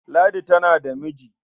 Ladi tana da miji.